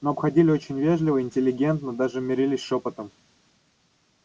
но обходили очень вежливо интеллигентно даже мерились шёпотом